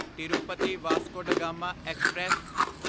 Tirupati Vasco da Gama express